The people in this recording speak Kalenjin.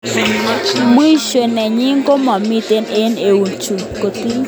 Mwisho nenyin komami eng eunek chok, kotil.